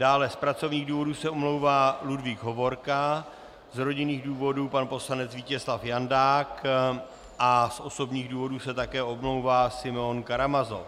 Dále z pracovních důvodů se omlouvá Ludvík Hovorka, z rodinných důvodů pan poslanec Vítězslav Jandák a z osobních důvodů se také omlouvá Simeon Karamazov.